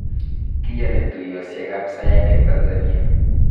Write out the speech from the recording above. Kiyani tuiyosek ab saet eng Tansania